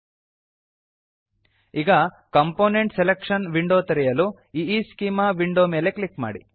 ಈಗ component selection component selection window ತೆರೆಯಲು ಈಸ್ಚೆಮಾ ಈಈಸ್ಕೀಮಾ ವಿಂಡೊ ಮೇಲೆ ಕ್ಲಿಕ್ ಮಾಡಿ